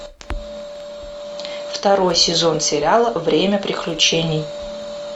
второй сезон сериала время приключений